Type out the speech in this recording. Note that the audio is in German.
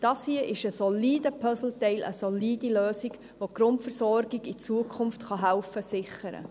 Dies hier ist ein solides Puzzleteil, eine solide Lösung, die helfen kann, die Grundversorgung in Zukunft zu sichern.